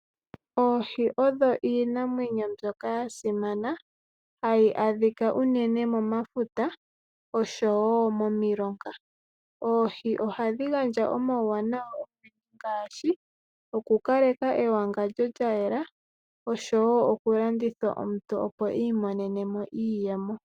Oohi odho iinamwenyo mbyoka ya simana, hayi adhika unene momafuta oshowo momilonga . Oohi ohadhi gandja omauwanawa ogendji ngaashi okukaleka ewangandjo lyayela , oshowoo okulandithwa omuntu opo iimonene mo iiyemo.